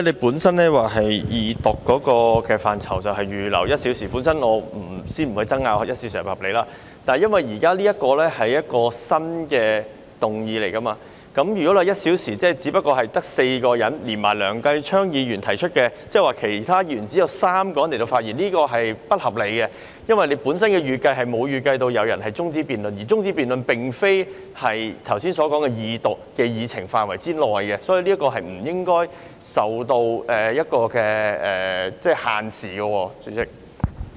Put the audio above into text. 由於你原本說將會為二讀辯論預留1小時，我先不爭辯1小時是否合理，但由於現時提出的是一項新的議案，如果只有1小時，便只足夠讓4位議員發言，而撇除提出這議案的梁繼昌議員，即只有3位其他議員可以發言，這是不合理的，因為你原來並沒有預計有人提出中止待續議案，而中止待續議案的辯論並不屬於二讀辯論的範圍，所以，這項辯論是不應該受時間限制的。